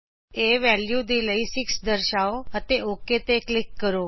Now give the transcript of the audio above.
A value ਦੇ ਲਈ 6 ਦਰਸ਼ਾਓ ਅਤੇ ਓਕ ਉੱਤੇ ਕਲਿਕ ਕਰੋ